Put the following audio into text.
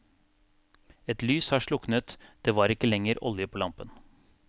Et lys har sluknet, det var ikke lenger olje på lampen.